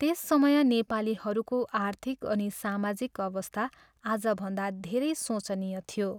त्यस समय नेपालीहरूको आर्थिक अनि सामाजिक अवस्था आजभन्दा धेरै सोचनीय थियो।